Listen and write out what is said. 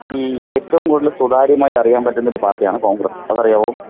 ഈ ഏറ്റവും കൂടുതൽ സ്വതാര്യമായി അറിയാൻ പറ്റുന്ന ഒരു പാർട്ടിയാണ് കോൺഗ്രസ്. അത് അറിയാവോ?